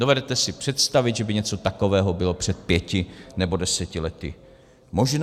Dovedete si představit, že by něco takového bylo před pěti nebo deseti lety možné?